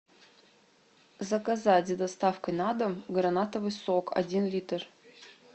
заказать с доставкой на дом гранатовый сок один литр